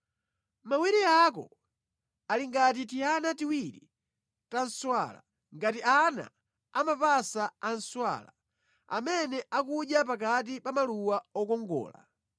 Mawere ako ali ngati tiana tiwiri ta nswala, ngati ana amapasa a nswala amene akudya pakati pa maluwa okongola.